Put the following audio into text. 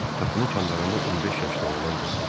Qapının kənarında 15 yaşlı oğlan göründü.